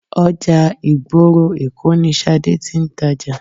Ọjà ìgboro Èkó ni Ṣadé tí ń tàjà.